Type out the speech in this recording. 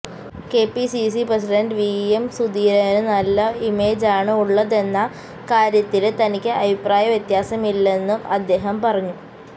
KPCC president VM സുധീരനു നല്ല ഇമേജാണ് ഉള്ളതെന്ന കാര്യത്തില് തനിക്ക് അഭിപ്രായ വ്യത്യാസമില്ലെന്നും അദ്ദേഹം പറഞ്ഞു